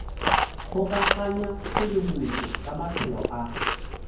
kgokaganya tshedimošo ka maphelo a